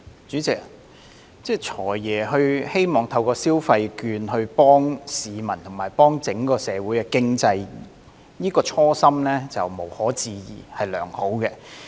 主席，"財爺"希望透過消費券幫助市民及整個社會經濟，這個初心無可置疑是良好的。